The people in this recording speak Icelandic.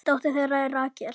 Dóttir þeirra er Rakel.